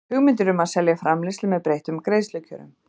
hugmyndir um að selja framleiðslu með breyttum greiðslukjörum.